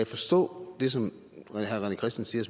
forstå det som herre rené christensen